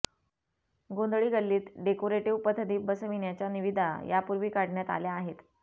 गोंधळी गल्लीत डेकोरेटिव्ह पथदीप बसविण्याच्या निविदा यापूर्वी काढण्यात आल्या आहेत